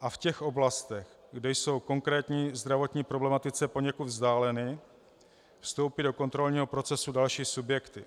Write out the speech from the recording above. a v těch oblastech, kde jsou konkrétní zdravotní problematice poněkud vzdáleny, vstoupí do kontrolního procesu další subjekty.